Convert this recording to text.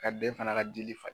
Ka ben fana ka jeli fa.